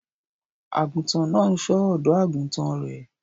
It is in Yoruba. Àgùntàn náà ń ṣọ́ ọ̀dọ́-àgùntàn rẹ̀